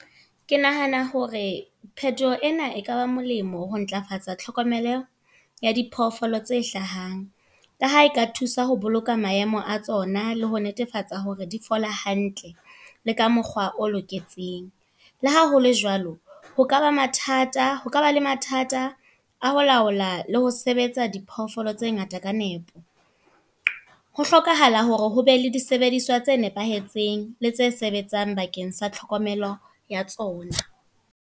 Ke nahana hore, phethoho ena e kaba molemo ho ntlafatsa tlhokomelo ya diphoofolo tse hlahang. Ka ha eka thusa ho boloka maemo a tsona, le ho netefatsa hore di fole hantle le ka mokgwa o loketseng. Le ha hole jwalo, ho kaba le mathata ho kaba le mathata a ho laola le ho sebetsa diphoofolo tse ngata ka nepo. Ho hlokahala hore hobe le disebediswa tse nepahetseng le tse sebetsang bakeng sa tlhokomelo ya tsona.